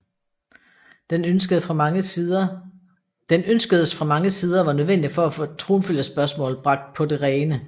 Den ønskedes fra mange sider og var nødvendig for at få tronfølgerspørgsmålet bragt på det rene